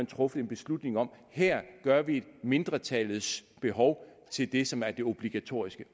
truffet en beslutning om at her gør vi mindretallets behov til det som er det obligatoriske